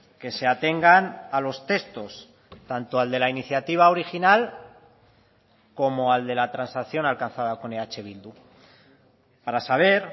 que se atengan a los textos tanto al de la iniciativa original como al de la transacción alcanzada con eh bildu para saber